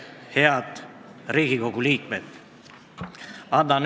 Head Riigikogu liikmed!